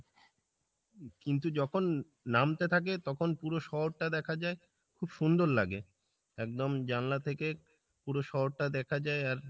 কিন্তু যখন নামতে থাকে তখন পুরো শহর টা দেখা যাই, খুব সুন্দর লাগে, একদম জানলা থেকে পুরো শহর টা দেখা যাই আর